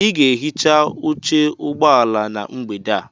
Ị ga-ehicha oche ụgbọ ala na mgbede a.